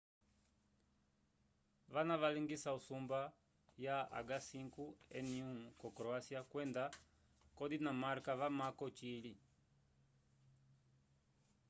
vana valingisa usumba ya h5n1 ko croacia kwenda ko dinamarca vamamko ocili